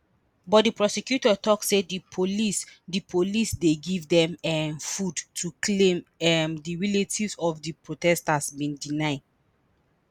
but di prosecutor tok say di police di police dey give dem um food a claim um di relatives of di protesters bin deny